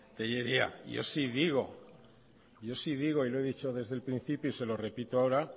telleria yo sí digo y lo he dicho desde el principio y se lo repito ahora